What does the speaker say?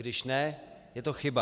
Když ne, je to chyba.